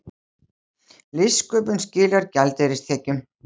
Listsköpun skilar gjaldeyristekjum